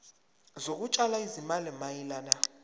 zokutshala izimali mayelana